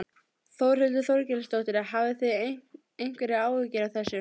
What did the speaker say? Þórhildur Þorkelsdóttir: Hafið þið einhverjar áhyggjur af þessu?